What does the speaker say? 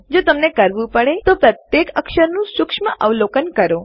જો તમને કરવું પડે તો પ્રત્યેક અક્ષરનું સૂક્ષ્મ અવલોકન કરો